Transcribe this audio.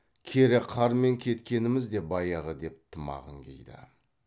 кере қармен кеткеніміз де баяғы деп тымағын киді